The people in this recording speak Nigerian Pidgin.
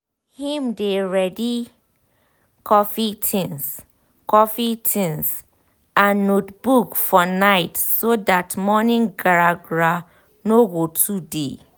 him dey ready coffee tinz coffee tinz and notebook for night so that morning gra gra no go too dey